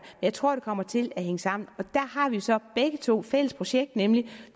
jeg tror det kommer til at hænge sammen og der har vi så begge to et fælles projekt nemlig